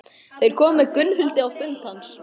Þeir komu með Gunnhildi á fund hans.